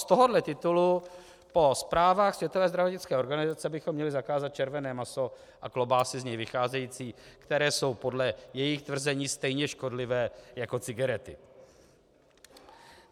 Z tohohle titulu po zprávách Světové zdravotnické organizace bychom měli zakázat červené maso a klobásy z něj vycházející, které jsou podle jejich tvrzení stejně škodlivé jako cigarety.